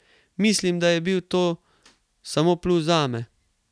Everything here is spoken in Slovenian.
Mislim, da je bil to samo plus zame.